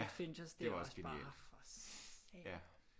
Ja det var også genialt ja